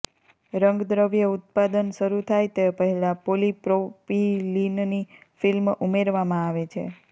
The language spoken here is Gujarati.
રંગદ્રવ્ય ઉત્પાદન શરૂ થાય તે પહેલાં પોલીપ્રોપીલિનની ફિલ્મ ઉમેરવામાં આવે છે